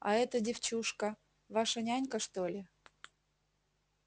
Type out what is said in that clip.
а эта девчушка ваша нянька что ли